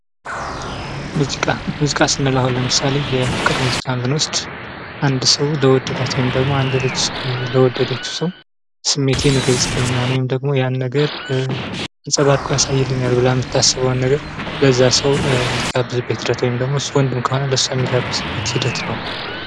ሙዚቃ ፦ሙዚቃ ስንል አሁን ለምሳሌ የፍቅር ሙዚቃን ስንወስድ አንድ ሰው ለወደዳት ወይም ደግሞ አንድት ልጅ ለወደደችው ሰው ስሜቴን ይልጽልኛል ወይም ደግሞ ያን ነገር አንጸባርቆ ያሳይልኛል ብላ የምታስበውን ነገር ለዛ ሰው የምትጋብዝበት ሂደት ነው ወይም ደግሞ እሱ ወንድ ከሆነ ለሷ የሚጋብዝበት ሂደት ነው።